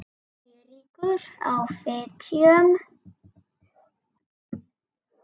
Eiríkur á Fitjum.